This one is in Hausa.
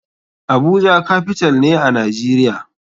Abuja capital ne a nijeria.